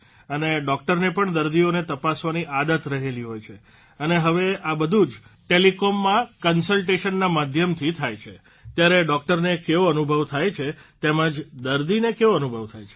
અને ડોકટરને પણ દર્દીઓને તપાસવાની આદત રહેલી હોય છે અને હવે આ બધું જ ટેલીકોમમાં કન્સલટેશનના માધ્યમથી થાય છે ત્યારે ડોકટરને કેવો અનુભવ થાય છે તેમજ દર્દીને કેવો અનુભવ થાય છે